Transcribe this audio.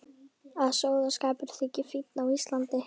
Að sóðaskapur þyki fínn á Íslandi.